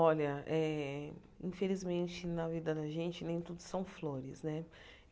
Olha eh, infelizmente na vida da gente nem tudo são flores, né?